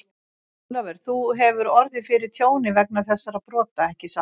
Ólafur, þú hefur orðið fyrir tjóni vegna þessara brota, ekki satt?